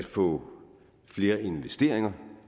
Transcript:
få flere investeringer